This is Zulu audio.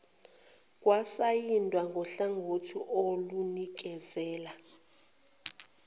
kwasayindwa nguhlangothi olunikezela